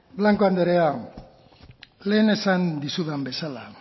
blanco andrea lehen esan dizudan bezala